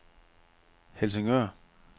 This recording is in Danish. Helsingør